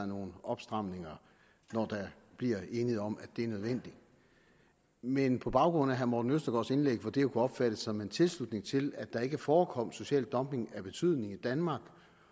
nogle opstramninger når der bliver enighed om at det er nødvendigt men på baggrund af herre morten østergaards indlæg kunne det jo opfattes som en tilslutning til at der ikke forekom social dumping af betydning i danmark